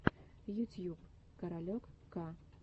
ютьюб каролек к